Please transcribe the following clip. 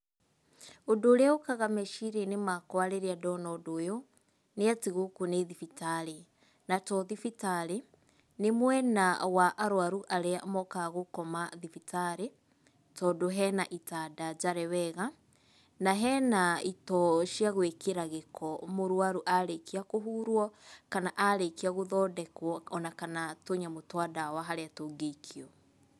Ũndũ ũrĩa ũkaga meciria-inĩ makwa rĩrĩa ndona ũndũ ũyũ, nĩ atĩ gũkũ nĩ thibitarĩ, na to thibitarĩ, nĩ mwena wa arũaru arĩa mokaga gũkoma thibitarĩ, tondũ hena itanda njare wega, na hena itoo cia gwĩkĩra gĩko mũrũaru arĩkia kũhurwo, kana arĩkia gũthondekwo ona kana tũnyamũ twa ndawa harĩa tũngĩikio.